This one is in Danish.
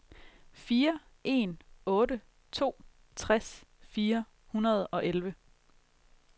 fire en otte to tres fire hundrede og elleve